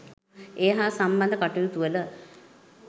ඒ හා සම්බන්ධ කටයුතු වල